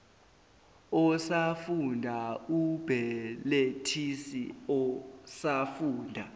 osafunda umbelethisi osafunda